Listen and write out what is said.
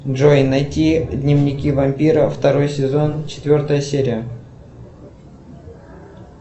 джой найти дневники вампира второй сезон четвертая серия